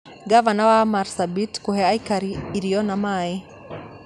Ngavana wa Marsabit kũhe aikari irio na maaĩ